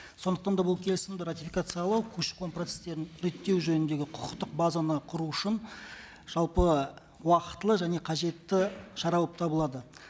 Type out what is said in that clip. сондықтан да бұл келісімді ратификациялау көші қон процесстерін реттеу жөніндегі құқықтық базаны құру үшін жалпы уақытылы және қажетті шара болып табылады